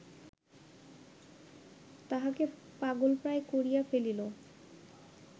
তাহাকে পাগলপ্রায় করিয়া ফেলিল